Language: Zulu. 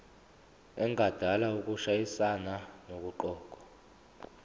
engadala ukushayisana nokuqokwa